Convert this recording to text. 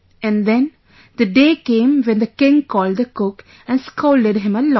And then the day came when the king called the cook and scolded him a lot